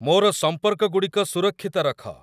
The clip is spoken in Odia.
ମୋର ସମ୍ପର୍କଗୁଡ଼ିକ ସୁରକ୍ଷିତ ରଖ